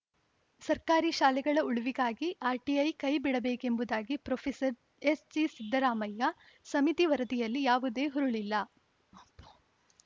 ಸರ್ಕಾರಿ ಶಾಲೆಗಳ ಉಳಿವಿಗಾಗಿ ಆರ್‌ಟಿಐ ಕೈ ಬಿಡಬೇಕೆಂಬುದಾಗಿ ಪ್ರೊಫೆಸರ್ ಎಸ್‌ಜಿ ಸಿದ್ದರಾಮಯ್ಯ ಸಮಿತಿ ವರದಿಯಲ್ಲಿ ಯಾವುದೇ ಹುರುಳಿಲ್ಲ ಪೊ